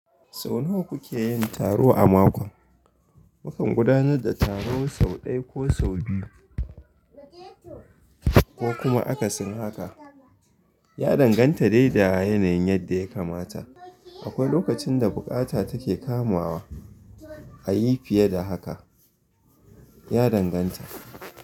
Sau nawa kuke yin taro a mako? Mukan gudanar da taro sau ɗaya ko sau biyu, ko kuma akasin haka. Ya danganta da yawan yanayin yadda ya kamata. Akwai lokacin da buƙata take kamawa a yi fiye da haka, ya danganta.